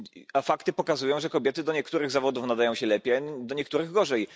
A fakty pokazują, że kobiety do niektórych zawodów nadają się lepiej, a do niektórych gorzej.